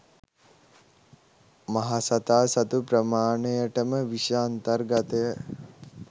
මහසතා සතු ප්‍රමාණයටම විෂ අන්තර්ගතය